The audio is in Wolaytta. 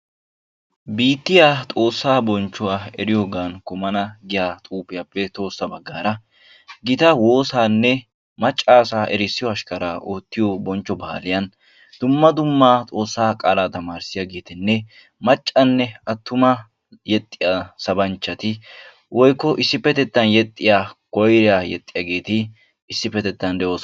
Biittiya xoossaa bonchchuwa eriyoogan kumana giya xuugiyaappe tohossa baggaara gita woosaanne macca asaa erissiyo ashkara oottiyo bonchcho baaliyan dumma dumma xoossaa qaalaa tamarissiyaageettinne maccanne attuma yexxiya sabanchchati woykko issippetettan yexxiya koyiriya yexxiyaageeti issippetettan de"oosona.